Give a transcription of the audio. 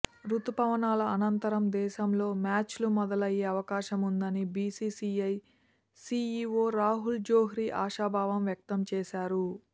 రుతుపవనాల అనంతరం దేశంలో మ్యాచ్లు మొదలయ్యే అవకాశం ఉందని బీసీసీఐ సీఈవో రాహుల్ జోహ్రీ ఆశాభావం వ్యక్తం చేశారు